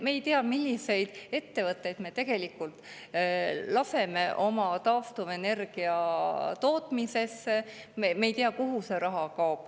Me ei tea, milliseid ettevõtteid me tegelikult laseme taastuvenergia tootmisesse, me ei tea, kuhu see raha kaob.